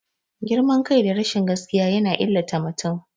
Girman kai da rashin gaskiya yana illata mutum.